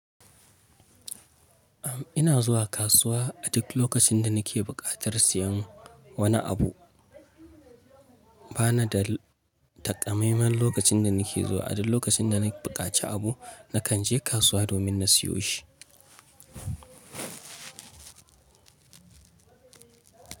Am ina zuwa kasuwa a duk lokacin da nake buƙatar siyan wani abu. Bana da takamaiman lokacin da nake zuwa, a duk lokacin da na buƙaci abu, nakan je kasuwa domin na siyo shi.